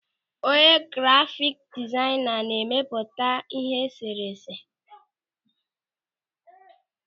Onye grafiki dizaịna na-emepụta e sere ese.